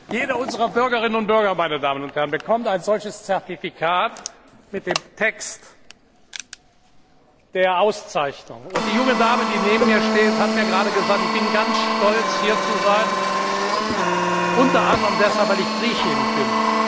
Jeder unserer Bürgerinnen und Bürger, meine Damen und Herren, bekommt ein solches Zertifikat mit dem Text der Auszeichnung. Und die junge Dame, die neben mir steht, hat gerade gesagt Ich bin ganz stolz, hier zu sein, unter anderem deshalb, weil ich Griechin bin.